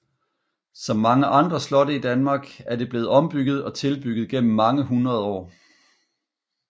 Som mange andre slotte i Danmark er det blevet ombygget og tilbygget gennem mange hundrede år